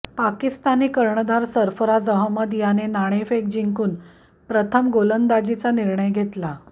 पाकिस्तानी कर्णधार सरफराज अहमद याने नाणेफेक जिंकून प्रथम गोलंदाजीचा निर्णय घेतला